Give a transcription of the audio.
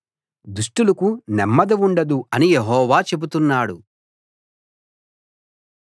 దుష్టులకు నెమ్మది ఉండదు అని యెహోవా చెబుతున్నాడు